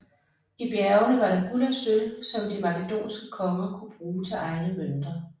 I bjergene var der guld og sølv som de makedonske konger kunne bruge til egne mønter